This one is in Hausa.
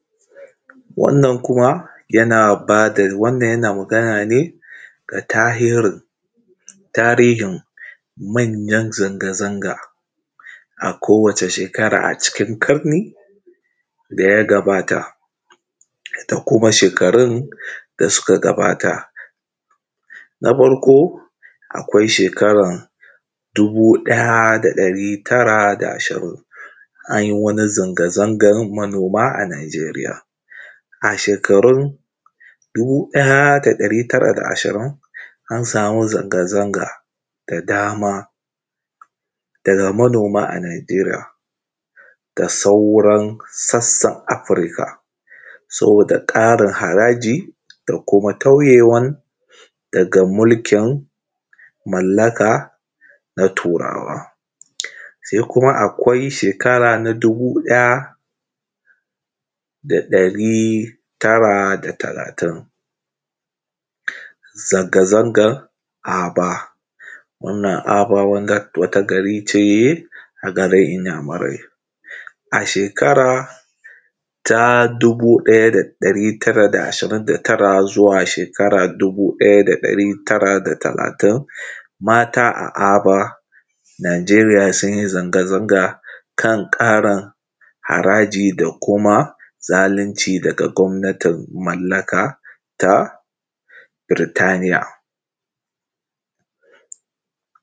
Wannan kuma yana ba da, yana magana ne, ga tahirin... tarihin manyan zanga-zanga. A kowace shekara a cikin ƙarni da ya gabata da kuma shekarun, da kuma shekarun da suka gabata. Na farko akwai shekara dubu ɗaya da ɗari tara da ashirin, an yi wani zanga-zangan manoma a Najeriya. A shekarun dubu ɗaya da ɗari tara da ashirin an sami zanga-zanga das dama daga manoma a Najeriya. Da sauran sassan Afirika saboda ƙarin haraji da kuma taiyewan daga mulkin mallaka na turawa. sai kuma akwai shekara na dubu ɗaya da ɗari tara da talatin, zanga-zangan Aba. Wannan Aba wata gari ce a garin Inyamurai. A shekara ta dubu ɗaya da ɗari tara da shirin da tara zuwa shekara ta dubu ɗaya da ɗari tara da talatin, mata a Aba Najeriya sun yi zanga-zanaga kan ƙarin haraji da kuma zalunci daga gwamnatin mallaka ta Birtaniya.